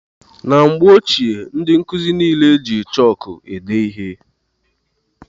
Na mgbe ochie ndị nkụzi niile jị chọọku ede ihe.